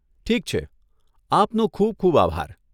ઠીક છે! આપનો ખૂબ ખૂબ આભાર.